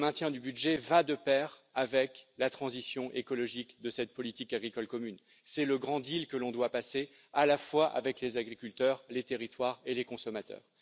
qui va de pair avec la transition écologique de cette politique agricole commune. C'est le grand deal que l'on doit passer à la fois avec les agriculteurs, les territoires et les consommateurs.